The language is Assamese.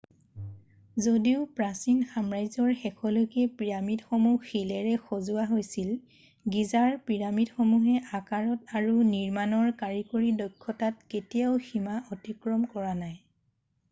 যদিও প্ৰাচীন সাম্ৰাজ্যৰ শেষলৈকে পিৰামিডসমূহ শিলেৰে সজোৱা হৈছিল গীজাৰ পিৰামিডসমূহে আকাৰত আৰু নিৰ্মাণৰ কাৰিকৰী দক্ষতাত কেতিয়াও সীমা অতিক্ৰম কৰা নাই